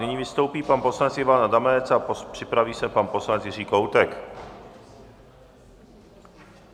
Nyní vystoupí pan poslanec Ivan Adamec a připraví se pan poslanec Jiří Kohoutek.